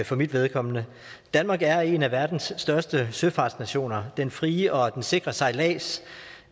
for mit vedkommende danmark er en af verdens største søfartsnationer den frie og sikre sejlads